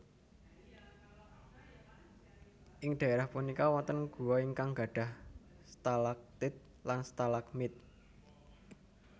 Ing daerah punika wonten gua ingkang gadhah stalagtit lan stalagmit